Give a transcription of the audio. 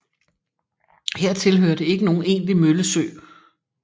Hertil hørte ikke nogen egentlig møllesø